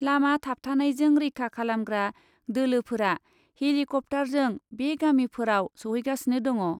लामा थाबथानायजों रैखा खालामग्रा दोलोफोरा हेलिकप्टारजों बे गामिफोराव सौहैगासिनो दङ ।